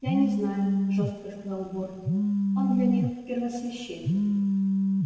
я не знаю жёстко сказал борт он для них первосвященник